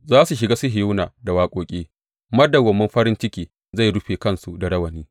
Za su shiga Sihiyona da waƙoƙi; madawwamin farin ciki zai rufe kansu da rawani.